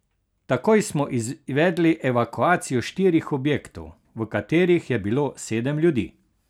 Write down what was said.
Takoj smo izvedli evakuacijo štirih objektov, v katerih je bilo sedem ljudi.